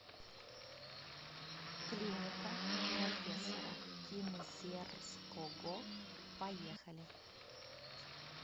клиника профессора кинзерского поехали